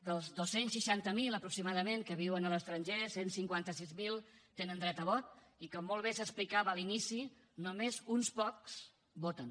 dels dos cents i seixanta miler aproximadament que viuen a l’estranger cent i cinquanta sis mil tenen dret a vot i com molt bé s’explicava a l’inici només uns pocs voten